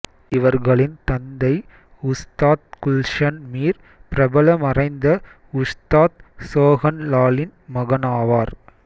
இவர்களின் தந்தை உஸ்தாத் குல்ஷன் மீர் பிரபல மறைந்த உஸ்தாத் சோஹன் லாலின் மகனாவார்